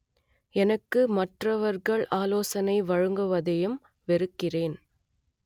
எனக்கு மற்றவர்கள் ஆலோசனை வழங்குவதையும் வெறுக்கிறேன்